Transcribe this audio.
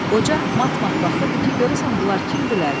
Qoca mat-mat baxırdı ki, görəsən bunlar kimdirlər?